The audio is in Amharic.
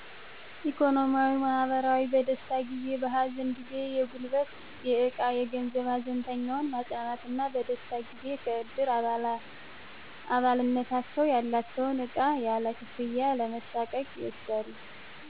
ኢኮኖሚያዊ, ማህበራዊ, በደስታ ጊዜ በሀዘን ጊዜ የጉልበት የዕቃ የገንዘብ ሀዘንተኛውን ማፅናናት በደስታ ጊዜ ከእድር አባልነታቸው ያላቸውን ዕቃ ያለ ክፍያ ያለመሣቀቅ ይወስዳሉ